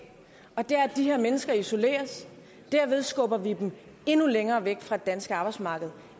man det er at de her mennesker isoleres og derved skubber vi dem endnu længere væk fra det danske arbejdsmarked